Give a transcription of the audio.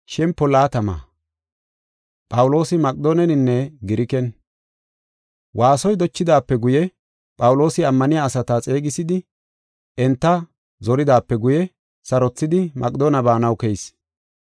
Waasoy dochidaape guye, Phawuloosi ammaniya asata xeegisidi enta zoridaape guye, sarothidi Maqedoone baanaw keyis.